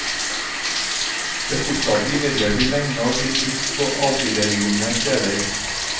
Det fortsatte imidlertid lenge å bli brukt på avsidesliggende steder.